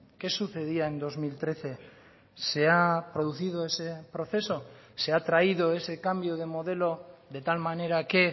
qué sucedía en dos mil trece se ha producido ese proceso se ha traído ese cambio de modelo de tal manera que